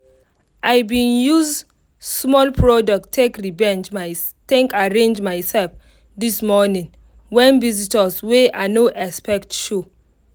i bin use small product take revenge arrange myself this morning when visitors wey i no expect show.